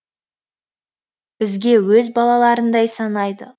бізге өз балаларындай санайды